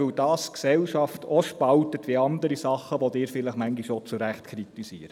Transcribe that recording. Dies spaltet die Gesellschaft, wie andere Dinge auch, die Sie manchmal auch zu Recht kritisieren.